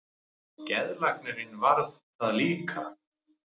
Geðlæknirinn varð það líka.